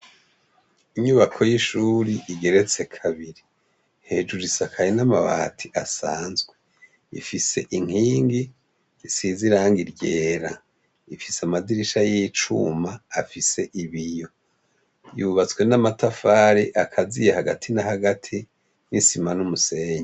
Inyubako y’ishure igeretse kabiri, hejuru isakaye n’amabati asanzwe, ifise inkingi isize irangi ryera, ifise amadirisha y’icuma afise ibiyo y’ubatswe n’amatafari akaziye hagati na hagati n’isima n’umusenyi.